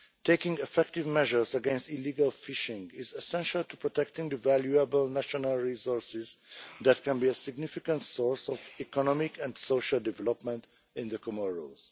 Taking effective measures against illegal fishing is essential to protecting the valuable national resources that can be a significant source of economic and social development in the Comoros.